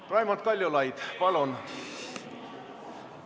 Raimond Kaljulaid, palun!